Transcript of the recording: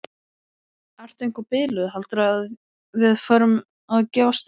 Ertu eitthvað biluð. heldurðu að við förum að gefast upp!